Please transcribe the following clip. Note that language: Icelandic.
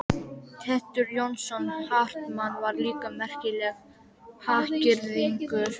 Teitur Jónsson Hartmann var líka merkilegur hagyrðingur.